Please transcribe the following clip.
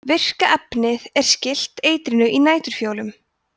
virka efnið er skylt eitrinu í næturfjólum